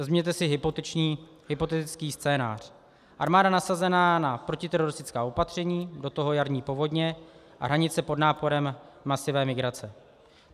Vezměte si hypotetický scénář - armáda nasazená na protiteroristická opatření, do toho jarní povodně a hranice pod náporem masové migrace.